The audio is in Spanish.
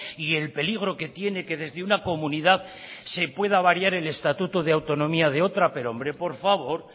y el peligro que tiene que desde una comunidad se pueda variar el estatuto de autonomía de otra pero hombre por favor